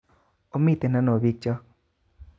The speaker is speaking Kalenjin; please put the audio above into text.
Omiten ano o bikyok